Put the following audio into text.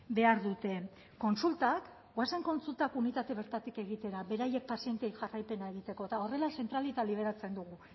behar dute kontsultak goazen kontsultak unitate bertatik egitera beraiek pazienteei jarraipena egiteko eta horrela zentralita liberatzen dugu